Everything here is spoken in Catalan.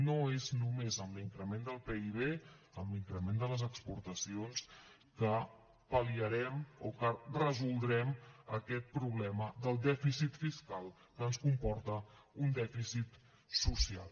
no és només amb l’increment del pib amb l’increment de les exportacions que pal·liarem o que resoldrem aquest problema del dèficit fiscal que ens comporta un dèficit social